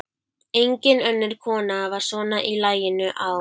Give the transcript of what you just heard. Engin önnur kona var svona í laginu á